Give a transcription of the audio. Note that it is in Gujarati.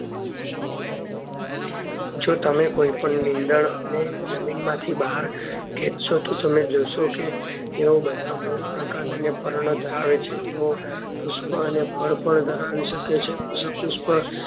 જો તમે કોઈ પણ નિંદણ ને જમીન માંથી બહાર ખેંચશો તો તમે જોશો કે તેઓ બધા મૂળ પ્રકાર અને પર્ણ ધરાવે છે તેઓ પુષ્પ અને પર્ણ પણ ધરાવી શકે છે પછી પુષ્પ